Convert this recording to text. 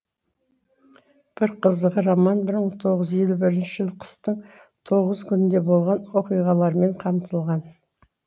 бір қызығы роман бір мың тоғыз жүз елу бірінші жылы қыстың тоғыз күнінде болған оқиғалармен қамтылған